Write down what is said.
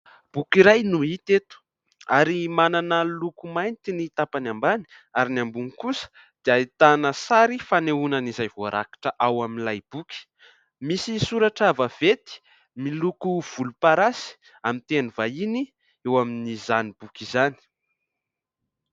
Boky iray no hita eto ary manana loko mainty ny tapany ambany ary ny ambony kosa dia ahitana sary fanehoana an'izay voarakitra ao amin'ilay boky. Misy soratra vaventy miloko volomparasy amin'ny teny vahiny eo amin'izany boky izany.